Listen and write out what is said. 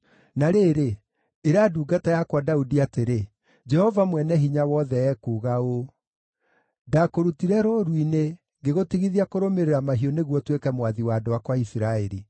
“Na rĩrĩ, ĩra ndungata yakwa Daudi atĩrĩ, ‘Jehova Mwene-Hinya-Wothe ekuuga ũũ: Ndaakũrutire rũũru-inĩ, ngĩgũtigithia kũrũmĩrĩra mahiũ nĩguo ũtuĩke mwathi wa andũ akwa a Isiraeli.